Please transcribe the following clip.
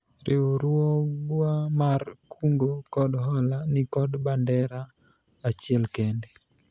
riwruogwa mar kungo kod hola nikod bandera achiel kende